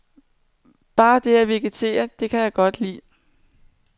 Bare det at vegetere, det kan jeg godt lide.